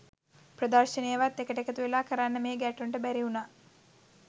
ප්‍රදර්ශනයවත් එකට එකතු වෙලා කරන්න මේ ගැට්ටොන්ට බැරි වුණා